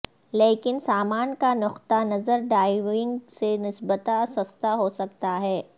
لیکن سامان کا نقطہ نظر ڈائیونگ سے نسبتا سستا ہو سکتا ہے